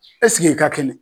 ɛseke e ka kɛnɛ.